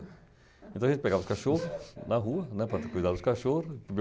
Então a gente pegava os cachorros na rua, né, para ter cuidado dos cachorros.